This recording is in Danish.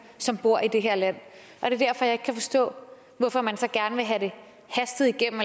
som bor i det her land og det er derfor jeg ikke kan forstå hvorfor man så gerne vil have det hastet igennem